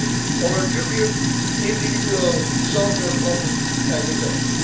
security and stability for dubious individual short term